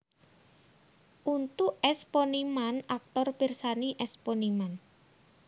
Untuk S Poniman aktor pirsani S Poniman